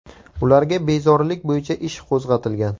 Ularga bezorilik bo‘yicha ish qo‘zg‘atilgan.